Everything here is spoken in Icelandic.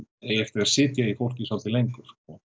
eigi eftir að sitja í fólki svolítið lengur